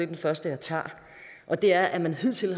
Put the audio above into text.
den første jeg tager det er at man hidtil